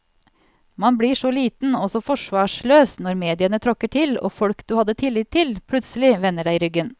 Man blir så liten og så forsvarsløs når mediene tråkker til og folk du hadde tillit til, plutselig vender deg ryggen.